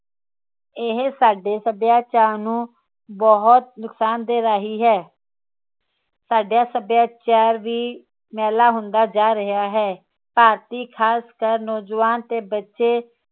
ਇਹ ਸਾਡੇ ਸੱਭਿਆਚਾਰ ਨੂੰ ਬਹੁਤ ਨੁਕਸਾਨ ਦੇ ਰਹੀ ਹੈ ਸਾਡਾ ਸੱਭਿਆਚਾਰ ਵੀ ਮੈਲਾ ਹੁੰਦਾ ਜਾ ਰਿਹਾ ਹੈਭਾਰਤੀ ਖਾਸਕਰ ਨੋਜਵਾਨ ਤੇ ਬੱਚੇ